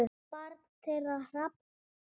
Barn þeirra: Hrafn.